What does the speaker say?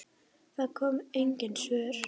Það komu engin svör.